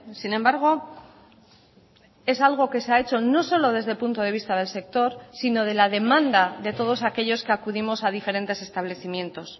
sin embargo es algo que se ha hecho no solo desde el punto de vista del sector sino de la demanda de todos aquellos que acudimos a diferentes establecimientos